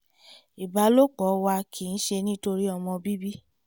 ìbálòpọ̀ wa kìí ṣe nítorí ọmọ bíbí